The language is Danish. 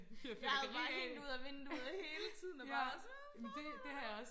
jeg havde bare hængt ud af vinduet hele tiden og bare været sådan hvad foregår der